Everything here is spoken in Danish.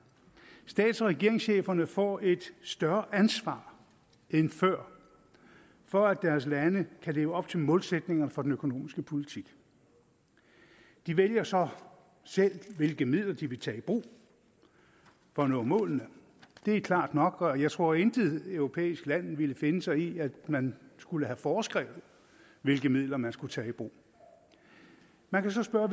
stats og regeringscheferne får et større ansvar end før for at deres lande kan leve op til målsætningerne for den økonomiske politik de vælger så selv hvilke midler de vil tage i brug for at nå målene det er klart nok og jeg tror at intet europæisk land ville finde sig i at man skulle have foreskrevet hvilke midler man skulle tage i brug man kan så spørge